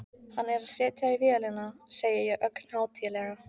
Hann er að setja í vélina, segi ég ögn hátíðlega.